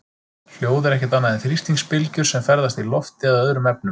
Hljóð er ekkert annað en þrýstingsbylgjur sem ferðast í lofti eða öðrum efnum.